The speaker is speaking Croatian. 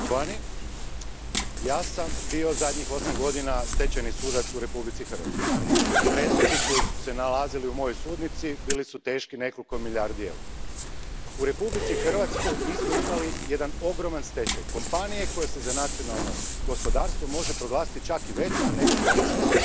Poštovana predsjedavajuća, ja sam zadnjih osam godina bio stečajni sudac u Republici Hrvatskoj. Predmeti koji su se nalazili u mojoj sudnici bili su teški nekoliko milijardi eura. U Republici Hrvatskoj mi smo imali jedan ogroman stečaj kompanije koja se za nacionalno gospodarstvo može proglasiti čak i većom nego Thomas Cook.